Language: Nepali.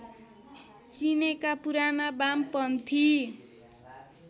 चिनेका पुराना बामपन्थी